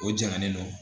O jaganlen don